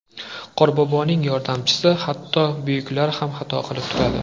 Qorboboning yordamchisi Hatto buyuklar ham xato qilib turadi.